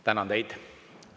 Tänan teid.